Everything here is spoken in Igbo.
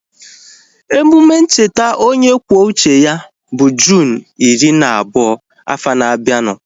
Emume ncheta onye kwuo uche ya bụ Juunu iri na abụọ afọ na abianu